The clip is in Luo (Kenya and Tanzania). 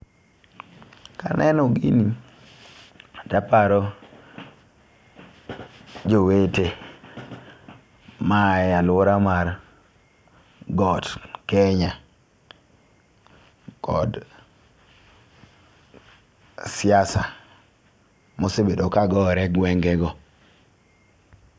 Kaneno gini taparo jowete ma ae aluora mar got kenya kod siasa mosebedo ka gore e gwenge go.